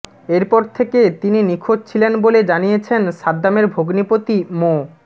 এরপর থেকে তিনি নিখোঁজ ছিলেন বলে জানিয়েছেন সাদ্দামের ভগ্নিপতি মো